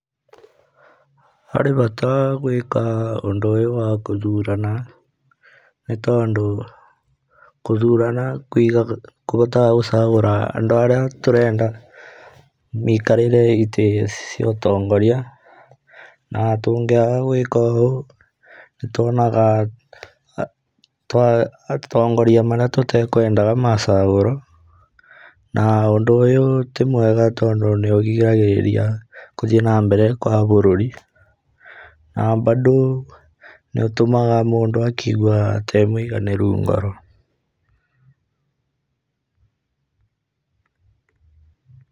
Harĩ bata gwĩka ũndũ ũyũ wa gũthurana, nĩ tondũ gũthurana kũhotaga gũcagũra andũ arĩa tũrenda maikarĩre itĩ ciotongoria, na tũngĩaga gũĩka ũũ, nĩ tuonaga atongoria marĩa tũtekwendaga macagũrwo, na ũndũ ũyũ timwega tondũ nĩ ũgiragĩrĩria gũthiĩ nambere gwa bũrũri, na mbandũ nĩ ũtũmaga mũndũ akaigwa atarĩ mũiganĩru ngoro.